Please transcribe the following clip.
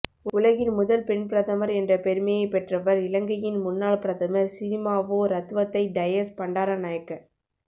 உலகின் முதல் பெண் பிரதமர் என்ற பெருமையை பெற்றவர் இலங்கையின் முன்னாள் பிரதமர் சிறிமாவோ ரத்வத்தை டயஸ் பண்டாரநாயக்க